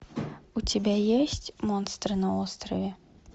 у тебя есть монстры на острове